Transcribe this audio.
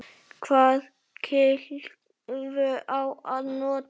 Hvaða kylfu á að nota?